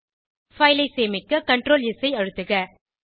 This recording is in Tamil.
பைல் ஐ சேமிக்க Ctrl ஸ் ஐ அழுத்துக